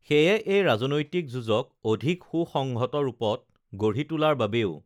সেয়ে এই ৰাজনৈতিক যুঁজক অধিক সুসংহত ৰূপত গঢ়ি তোলাৰ বাবেও